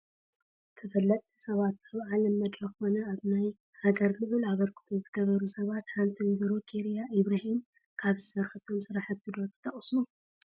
ተፈለጥቲ ሰባት፡- ኣብ ዓለም መድረኽ ኮነ ኣብ ናይ ሃገር ልዑል ኣበርክቶ ዝገበሩ ሰባት ሓንቲ ወ/ሮ ኬርያ ኢብራሂም፡፡ ካብ ዝሰርሖቶም ስራሕቲ ዶ ትጠቕሱ?